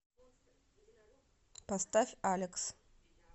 поставь алекс